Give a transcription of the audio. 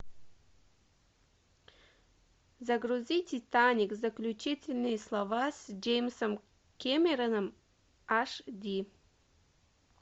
загрузи титаник заключительные слова с джеймсом кэмероном аш ди